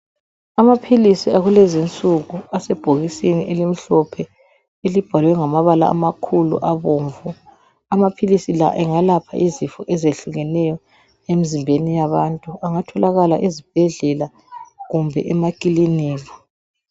Amaphilisi akulezinsuku asebhokisini elimhlophe elibhalwe ngamabala amakhulu abomvu. Amaphilisi la engayelapha izifo ezinengi emzimbeni yabantu. Angatholakala ezibhedlela kumbe ema klinikhi.